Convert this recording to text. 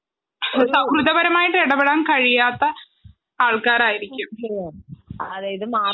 ഒരു സൗഹൃദപരമായിട്ട് ഇടപെടാൻ കഴിയാത്ത ആൾക്കാരായിരിക്കും